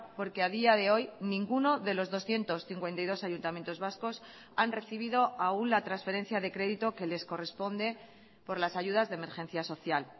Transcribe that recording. porque a día de hoy ninguno de los doscientos cincuenta y dos ayuntamientos vascos han recibido aún la transferencia de crédito que les corresponde por las ayudas de emergencia social